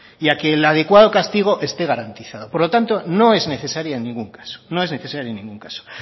y a que el adecuado castigo esté garantizado por lo tanto no es necesaria en ningún caso